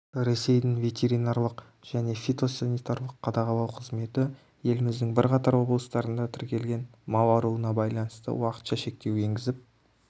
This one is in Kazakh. ресейдің ветеринарлық және фитосанитарлық қадағалау қызметі еліміздің бірқатар облыстарында тіркелген мал ауруына байланысты уақытша шектеу енгізіп